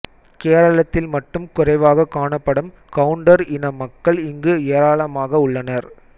கேரளத்தில் மட்டும் குறைவாக காணப்படும் கவுண்டர் இன மக்கள் இங்கு ஏராளமாக உள்ளனர்